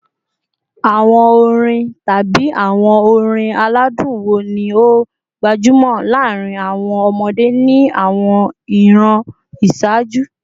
Awọn orin tabi awọn orin aladun wo ni o gbajumo laarin awọn ọmọde ni awọn iran iṣaaju?